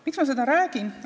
Miks ma seda räägin?